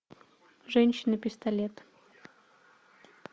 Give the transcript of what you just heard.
женщина пистолет